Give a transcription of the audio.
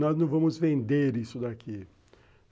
Nós não vamos vender isso daqui.